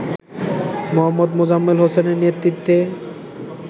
মো. মোজাম্মেল হোসেনের নেতৃত্বে